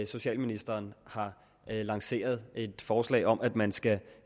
socialministeren har lanceret et forslag om at man skal